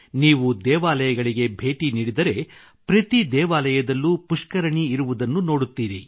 ನೀವು ದೇವಾಲಯಗಳಿಗೆ ಭೇಟಿ ನೀಡಿದರೆ ಪ್ರತಿ ದೇವಾಲಯದಲ್ಲೂ ಪುಷ್ಕರಣಿ ಇರುವುದನ್ನು ನೋಡುತ್ತೀರಿ